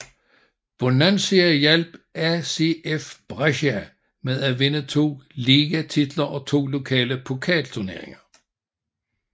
Bonansea hjalp ACF Brescia med at vinde to ligatitler og to lokale pokalturneringer